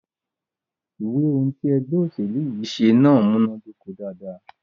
Ìwé ohùn tí ègbé òṣèlú yí ṣe náà múnàdoko dáadáa.